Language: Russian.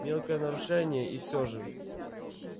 мелкое нарушение и все же